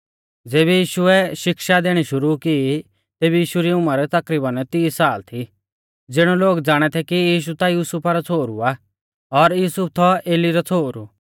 ज़ेबी यीशुऐ शिक्षा देणी शुरु की तेबी यीशु री उमर तकरीबन तीस साल थी ज़िणौ लोग ज़ाणा थै कि यीशु ता युसुफा रौ छ़ोहरु आ और युसुफ थौ एली रौ छ़ोहरु